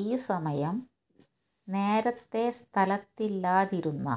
ഈ സമയം നേരത്തെ സ്ഥലത്തില്ലാതിരുന്ന